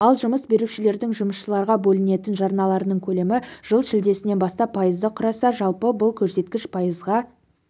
ал жұмыс берушілердің жұмысшыларға бөлетін жарналарының көлемі жылы шілдесінен бастап пайызды құраса жылы бұл көрсеткіш пайызға